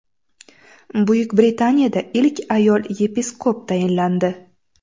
Buyuk Britaniyada ilk ayol yepiskop tayinlandi.